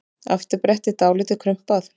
Afturbrettið dálítið krumpað.